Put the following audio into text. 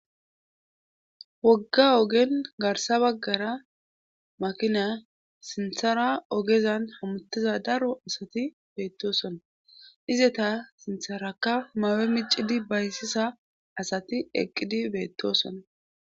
Wogga ogen garssa baggara makina sinthara ogezan hamottiza daro asati beettoosona izeta sintherakka mayo miccidi baysiza asati eqqidi beettoosona.